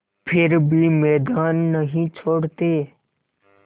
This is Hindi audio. फिर भी मैदान नहीं छोड़ते